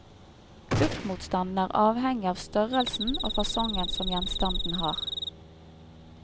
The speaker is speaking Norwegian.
Luftmotstanden er avhengig av størrelsen og fasongen som gjenstanden har.